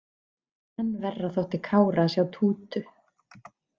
Enn verra þótti Kára að sjá Tútu.